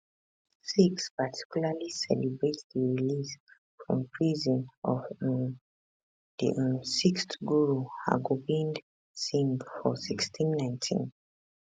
sikhs particularly celebrate di release from prison of um di um sixth guru hargobind singh for1619